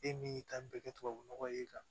E min y'i ta bɛɛ kɛ tubabu nɔgɔ ye kan